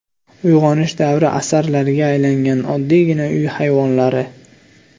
Uyg‘onish davri asarlariga aylangan oddiygina uy hayvonlari .